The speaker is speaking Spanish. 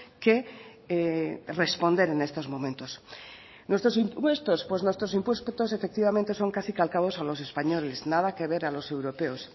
que responder en estos momentos nuestros impuestos pues nuestros impuestos efectivamente son casi calcados a los españoles nada que ver a los europeos